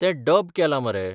तें डब केलां मरे.